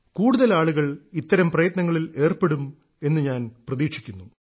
കൂടുതൽ ആളുകൾ ഇത്തരം പ്രയത്നങ്ങളിൽ ഏർപ്പെടും എന്നു ഞാൻ പ്രതീക്ഷിക്കുന്നു